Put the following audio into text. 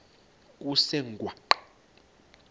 kusengwaqa